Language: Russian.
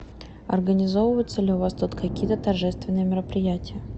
организовываются ли у вас тут какие то торжественные мероприятия